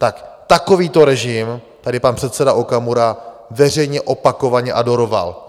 Tak takovýto režim tady pan předseda Okamura veřejně opakovaně adoroval.